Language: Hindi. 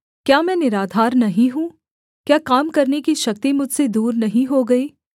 क्या मैं निराधार नहीं हूँ क्या काम करने की शक्ति मुझसे दूर नहीं हो गई